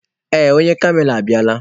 Ee, onye kamera abịala.